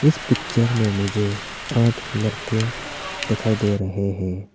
इस पिक्चर आठ लड़के दिखाई दे रहे हैं।